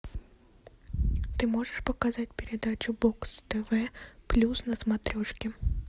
ты можешь показать передачу бокс тв плюс на смотрешке